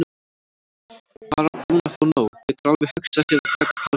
Bara búinn að fá nóg, getur alveg hugsað sér að taka pásu.